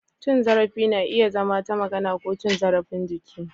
Cin zarafi na iya zama ta magana ko cin zarafin jiki.